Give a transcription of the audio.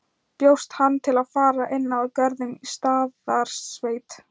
Bjóst hann til að fara inn að Görðum í Staðarsveit.